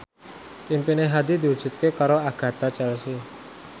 impine Hadi diwujudke karo Agatha Chelsea